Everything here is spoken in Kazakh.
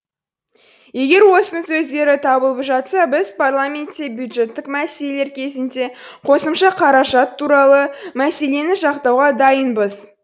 егер осының көздері табылып жатса біз парламентте бюджеттік мәселелер кезінде қосымша қаражат туралы мәселені жақтауға дайынбыз